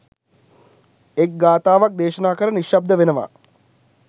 එක් ගාථාවක් දේශනා කර නිශ්ශබ්ද වනවා.